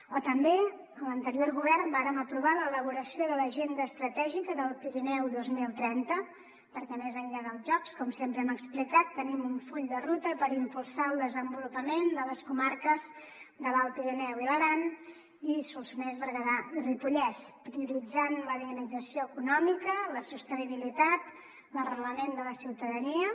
o també en l’anterior govern vàrem aprovar l’elaboració de l’agenda estratègica del pirineu dos mil trenta perquè més enllà dels jocs com sempre hem explicat tenim un full de ruta per impulsar el desenvolupament de les comarques de l’alt pirineu i l’aran i solsonès berguedà i ripollès prioritzant la dinamització econòmica la sostenibilitat l’arrelament de la ciutadania